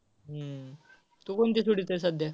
हम्म तू कोणती सोडवतोयस सध्या.